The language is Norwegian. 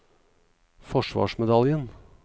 forsvarsmedaljen